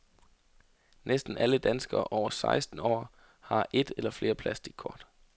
Næsten alle danskere over seksten år har et eller flere plastickort.